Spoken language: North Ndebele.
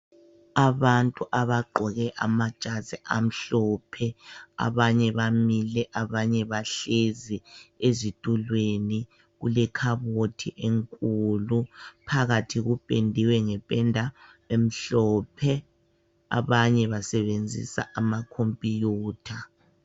Abantu abagqoke amajazi amhlophe abanye bamile abanye bahlezi ezitulweni kulekhabothi enkulu phakathi kupendiwe ngependa emhlophe abanye basebenzisa amakhomputha.